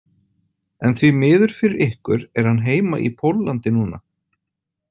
En því miður fyrir ykkur er hann heima í Póllandi núna.